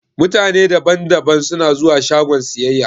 Mutane da ban da ban suna zuwa shagon siyayya.